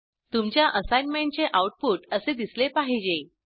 तुमच्या असाईनमेंटचे आऊटपुट असे दिसले पाहिजे